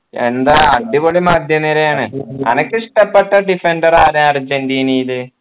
എന്താ അടിപൊളി മധ്യനിരയാണ് അനക്ക് ഇഷ്ടപ്പെട്ട defender ആരാ അർജൻറീനയിൽ